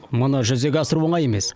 мұны жүзеге асыру оңай емес